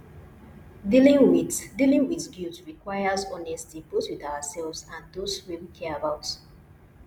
dealing with dealing with guilt requires honesty both with ourselves and those wey we care about